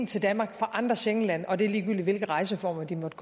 til danmark fra andre schengenlande og det er ligegyldigt hvilke rejseformer de måtte